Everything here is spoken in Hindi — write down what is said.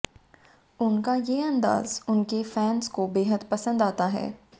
उनका ये अंदाज़ उनके फ़ैंस को बेहद पसंद आता है